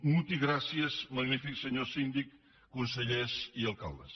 moltes gràcies magnific senhor sindic conselhèrs e alcaldes